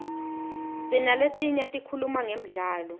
sinaletinye tikhuluma ngemdlalo